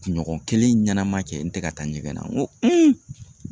Kunɲɔgɔn kelen ɲanama kɛ n tɛ ka taa ɲɛgɛn na n ko